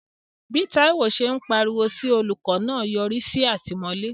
Bí Taiwo ṣe ń pariwo sí olùkọ́ náà yọrí sí àtìmọ́lé.